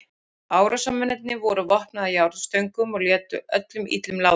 Árásarmennirnir voru vopnaðir járnstöngum og létu öllum illum látum.